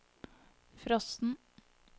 frosten